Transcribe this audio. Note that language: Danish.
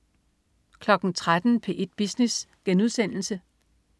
13.00 P1 Business*